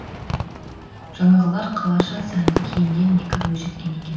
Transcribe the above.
жаңағылар қалаша сәнді киінген екі бойжеткен екен